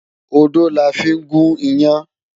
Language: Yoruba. Odó la fí ń gún iyán.